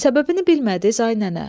Səbəbini bilmədi, ay nənə.